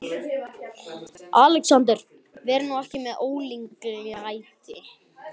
ALEXANDER: Verið nú ekki með ólíkindalæti.